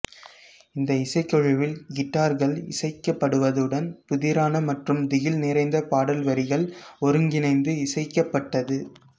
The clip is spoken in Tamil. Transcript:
இந்த இசைக்குழுவில் கிட்டார்கள் இசைக்கப்படுவதுடன் புதிரான மற்றும் திகில் நிறைந்த பாடல்வரிகள் ஒருங்கிணைந்து இசைக்கப்பட்டது